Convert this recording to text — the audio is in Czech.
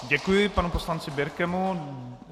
Děkuji planu poslanci Birkemu.